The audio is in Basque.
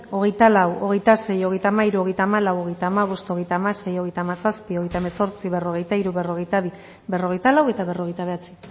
hogeita lau hogeita sei hogeita hamairu hogeita hamalau hogeita hamabost hogeita hamasei hogeita hamazazpi hogeita hemezortzi berrogeita hiru berrogeita bi berrogeita lau eta berrogeita bederatzi